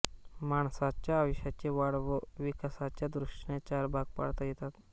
माणसाच्या आयुष्याचे वाढ व विकासाच्या दृष्टीने चार भाग पाडता येतात